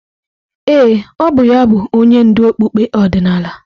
Ee, ọ bụ ya bụ onye ndú okpukpe ọdịnala.